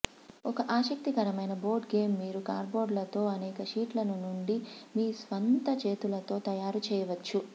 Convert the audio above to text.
ఒక ఆసక్తికరమైన board game మీరు కార్డ్బోర్డ్లతో అనేక షీట్లను నుండి మీ స్వంత చేతులతో తయారు చేయవచ్చు